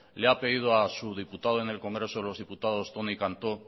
le ha pedido a su diputado en el congreso de los diputados toni cantó